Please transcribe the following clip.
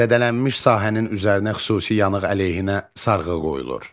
Zədələnmiş sahənin üzərinə xüsusi yanıq əleyhinə sarğı qoyulur.